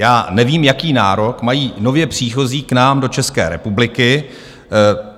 Já nevím, jaký nárok mají nově příchozí k nám do České republiky.